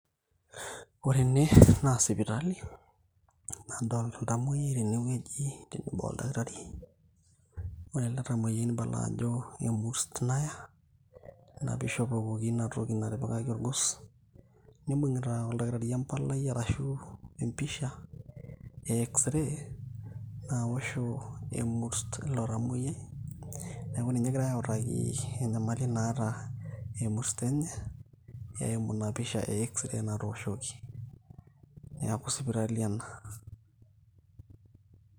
Ore ene, na sipitali. Nadolta oltamoyiai tenewueji tenebo oldakitari. Ore ele tamoyiai nibala ajo emurs naya, na pishopokoki inatoki natipikaki orgos. Nibung'ita oldakitari empalai ashu empisha, eh X-ray ,nawosho ina murs ilo tamoyiai. Neeku ninye egirai autaki enyamali naata emurs enye, eimu ina pisha e X-ray natooshoki. Neeku sipitali ena.